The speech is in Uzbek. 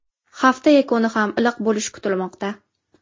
Hafta yakuni ham iliq bo‘lishi kutilmoqda.